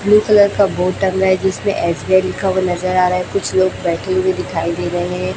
Blue colour का board टंगा है जिसमें एस_बी_आई लिखा हुआ नजर आ रहा है कुछ लोग बैठे हुए दिखाई दे रहे हैं।